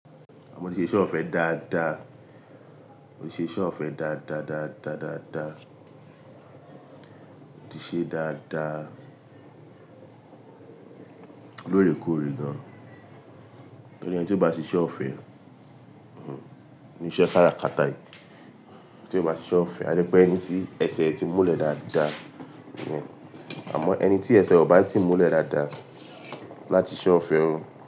Mo tí ṣe iṣẹ ọ̀fẹ́ dáadáa, ó ṣe iṣẹ́ ọ̀fẹ́ dáadáa, dáadáa, dáadáa, ó ti ṣe dáadáa lóòrèkóòrè gan. Wọn ni ẹni tí ó bá ṣe iṣẹ́ ọ̀fẹ́, ninu iṣẹ́ kára kata yìí, tí ó bá ṣe iṣẹ́ ọ̀fẹ́, adé pé ẹni tí ẹsẹ̀ ti múlẹ̀ dáadáa, àmọ́ ẹni tí ẹsẹ̀ ọ̀ bá ti múlẹ̀ dáadáa láti ṣe ọ̀fẹ́